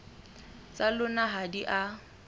tsa lona ha di a